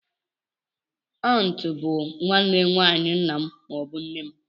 Auntú bụ nwanne nwayi ńnà m maọbu nne m.